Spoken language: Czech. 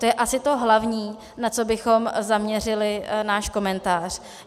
To je asi to hlavní, na co bychom zaměřili náš komentář.